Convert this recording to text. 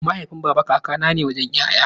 Mahaifin baba kaka ne wajen 'ya'ya.